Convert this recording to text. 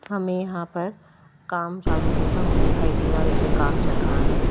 हमें यहां पर काम चालू होता हुआ दिखाई दे रहा है जैसे काम चल रहा है।